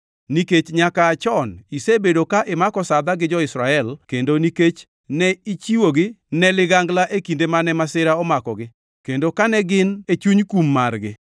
“ ‘Nikech nyaka aa chon isebedo ka imako sadha gi jo-Israel kendo nikech ne ichiwogi ne ligangla e kinde mane masira omakogi, kendo kane gin e chuny kum margi,